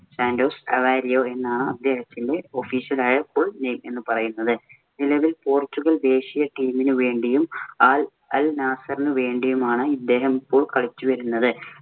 Santos Aveiro എന്നാണ് അദ്ദേഹത്തിന്‍റെ official ആയ full name എന്ന് പറയുന്നത്. നിലവിൽ പോർച്ചുഗൽ ദേശീയ team ന് വേണ്ടിയും, ആൽ അൽ നാസറിന് വേണ്ടിയും ആണ് അദ്ദേഹം ഇപ്പോള്‍ കളിച്ചു വരുന്നത്.